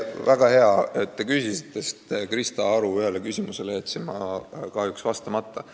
Väga hea, et te küsisite, sest Krista Aru ühele küsimusele jätsin ma kahjuks vastamata.